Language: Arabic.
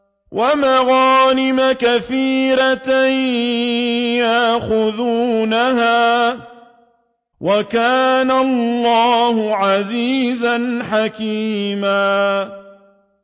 وَمَغَانِمَ كَثِيرَةً يَأْخُذُونَهَا ۗ وَكَانَ اللَّهُ عَزِيزًا حَكِيمًا